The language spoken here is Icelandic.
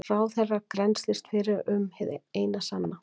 Ráðherra grennslist fyrir um hið sanna